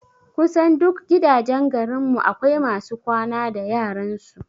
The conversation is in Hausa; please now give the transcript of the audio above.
Kusan duk gidajen garin mu akwai masu kwana da yaran su